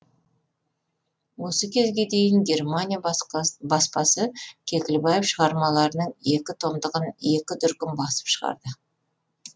осы кезге дейін германия баспасы кекілбаев шығармаларының екі томдығын екі дүркін басып шығарды